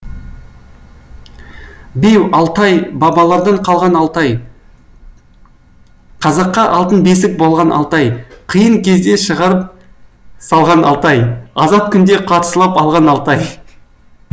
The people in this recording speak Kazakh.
беу алтай бабалардан қалған алтай қазаққа алтын бесік болған алтай қиын кезде шығарып салған алтай азат күнде қарсылап алған алтай